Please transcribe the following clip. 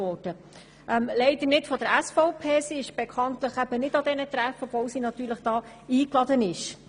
Die SVP ist leider bekanntlich nicht an diesen Treffen, auch wenn sie natürlich dazu eingeladen ist.